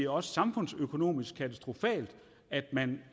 og samfundsøkonomisk katastrofalt at man